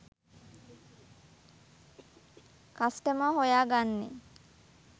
customer හොයා ගන්නේ